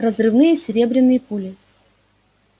разрывные серебряные пули